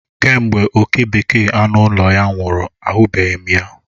Kemgbe oke bekee anụ ụlọ ya nwụrụ, ahụbeghị m ya.